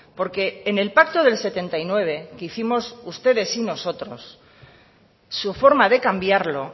porque en el pacto del setenta y nueve que hicimos ustedes y nosotros su forma de cambiarlo